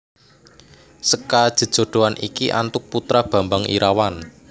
Seka jejodhoan iki antuk putra Bambang Irawan